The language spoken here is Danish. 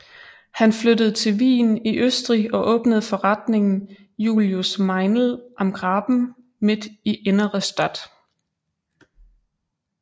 Han flyttede til Wien i Østrig og åbnede forretningen Julius Meinl am Graben midt i Innere Stadt